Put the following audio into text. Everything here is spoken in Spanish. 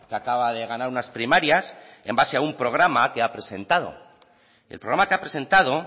acaba de ganar unas primarias en base a un programa que ha presentado el programa que ha presentado